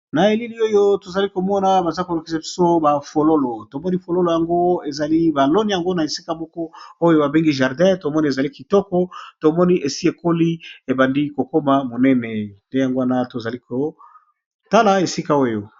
Na elili oyo tozali komona baza kolok pso ba fololo tomoni fololo yango ezali balone yango na esika moko oyo babengi jardin tomoni ezali kitoko tomoni esi ekoli ebandi kokoma monene te yango wana tozali kotala esika oyo.